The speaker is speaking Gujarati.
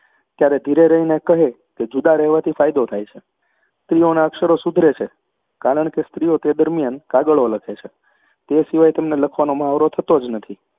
ત્યારે ધીરે રહીને કહે કે, જુદા રહેવાથી ફાયદો થાય છે. સ્ત્રીઓના અક્ષરો સુધરે છે, કારણ કે સ્ત્રીઓ તે દરમિયાન કાગળો લખે છે, તે સિવાય તેમનો લખવાનો મહાવરો થતો જ નથી.